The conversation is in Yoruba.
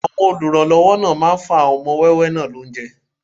Àwọn olùrànlọ́wọ́ náà máa fún àwọn ọmọ wẹ́wẹ́ náà lóúnjẹ